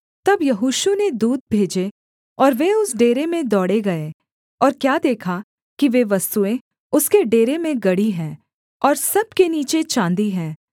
तब यहोशू ने दूत भेजे और वे उस डेरे में दौड़े गए और क्या देखा कि वे वस्तुएँ उसके डेरे में गड़ी हैं और सब के नीचे चाँदी है